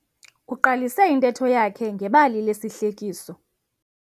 Uqalise intetho yakhe ngebali lesihlekiso.